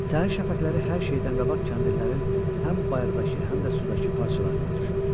Səhər şəfəqləri hər şeydən qabaq kəndirlərin həm bayırdakı, həm də sudakı parçalarına düşürdü.